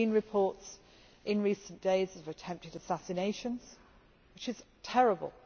We have seen reports in recent days of attempted assassinations, which is terrible.